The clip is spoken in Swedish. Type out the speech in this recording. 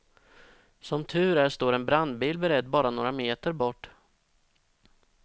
Som tur är står en brandbil beredd bara några meter bort.